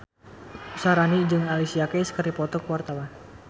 Syaharani jeung Alicia Keys keur dipoto ku wartawan